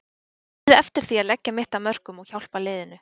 Ég bíð eftir því að leggja mitt af mörkum og hjálpa liðinu.